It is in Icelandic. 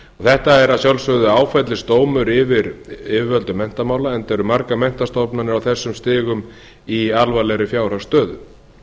þetta er að sjálfsögðu áfellisdómur yfir yfirvöldum menntamála enda eru margar menntastofnanir á þessum stigum í alvarlegri fjárhagsstöðu